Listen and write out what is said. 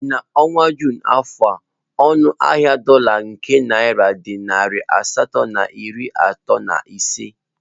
N'ọnwa Jụn n'afọ a ọnụ ahịa dola ka naira dị narị asatọ na iri atọ na ise